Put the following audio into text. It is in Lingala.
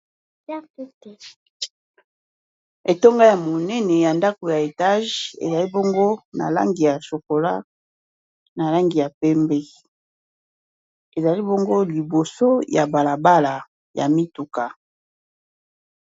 Etonga ya monene ya ndako ya etage ezali bongo na langi ya chokola na langi ya pembe ezali bongo liboso ya balabala ya mituka.